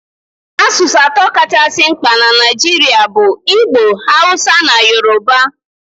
Asụsụ atọ kachasị mkpa na Naijiria bụ Igbo, Hausa na Yoruba.